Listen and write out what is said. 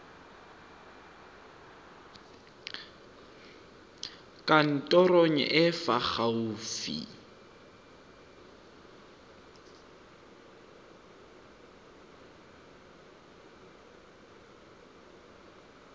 kantorong e e fa gaufi